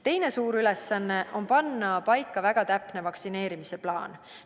Teine suur ülesanne on panna paika väga täpne vaktsineerimise plaan.